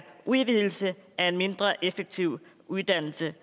udvidelse af en mindre effektiv uddannelse